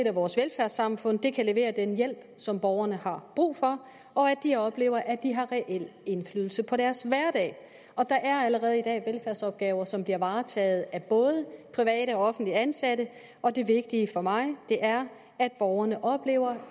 at vores velfærdssamfund kan levere den hjælp som borgerne har brug for og at de oplever at de har reel indflydelse på deres hverdag der er allerede i dag velfærdsopgaver som bliver varetaget både af private og offentligt ansatte og det vigtige for mig er at borgerne oplever